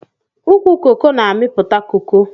Ukwu coco na amiputa coco.